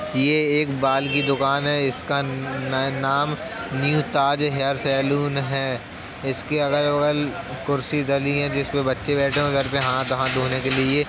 ये एक बाल की दुकान है इसका नाम न्यू ताज हेयर सैलून है इसके अगल बगल कुर्सी डली हैं जिस पे बच्चे बैठे हैं और घर पे हाथ हाथ धोने के लिए ये --